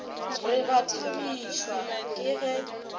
re ba thabišwa ke ge